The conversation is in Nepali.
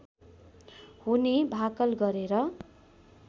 हुने भाकल गरेर